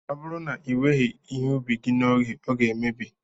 Ọ bụrụ na iweghị ihe ubi gị n'oge, ọ ga-emebi